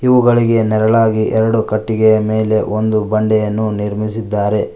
ಅವುಗಳಿಗೆ ನೆರಳಾಗಿ ಎರಡು ಕಟ್ಟಿಗೆಯ ಮೇಲೆ ಒಂದು ಬಂಡೆಯನ್ನು ನಿರ್ಮಿಸಿದ್ದಾರೆ.